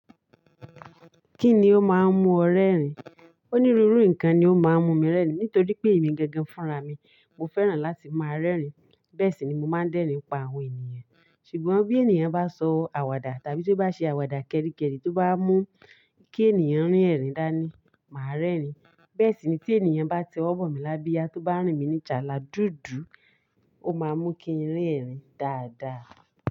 Kíni ó máa ń mú ọ rẹ́rìn? Onírúurú nǹkan ni ó máa ń mú mi rẹ́rìn. Nítorí pé èmi gẹ́gẹ́ fúnra mi, mo fẹ́ràn láti máa rẹ́rìn. Bẹ́ẹ̀ sì ni mo máa ń dẹ́rìn pa àwọn ènìyàn. Ṣùgbọ́n bí ènìyàn bá sọ àwàdà tàbí tó bá ṣe àwàdà kẹ́ríkẹ́rí tó bá mú kí ènìyàn rín ẹ̀rìn dáa ni, màá rẹ́rìn. Bẹ́ẹ̀ sì ni tí ènìyàn bá ti ọwọ́ bọ̀ mí lábíya tó bá rìn mí ní jàlà dúdú, ó máa mú kí n rín ẹ̀rìn dáadáa.